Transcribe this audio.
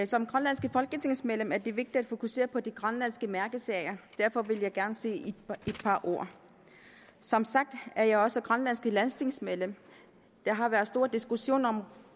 som grønlandsk folketingsmedlem er det vigtigt at fokusere på de grønlandske mærkesager derfor vil jeg gerne sige et par ord som sagt er jeg også grønlandsk landstingsmedlem der har været stor diskussion om